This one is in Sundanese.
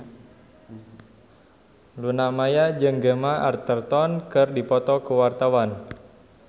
Luna Maya jeung Gemma Arterton keur dipoto ku wartawan